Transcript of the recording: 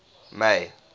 may